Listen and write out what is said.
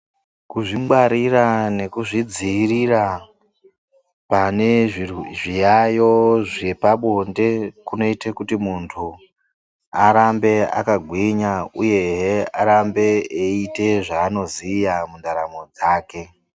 Kuzvingwarira nekuzvidziirira pane zvirwe zviyaiyo zvepabonde, kunoite kuti muntu, arambe akagwinya uyehe arambe eiite zvaanoziya mundaramo dzake.